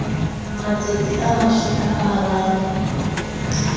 matsatsi a mashome a mararo